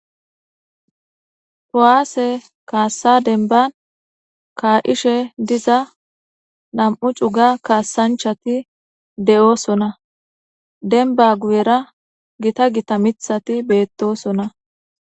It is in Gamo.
Powaase kaassa denban kaa7ishe diza nam7u cuga kaassanchati de7oosona denba guyera gita gita mithati beettosona.